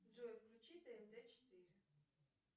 джой включи тнт четыре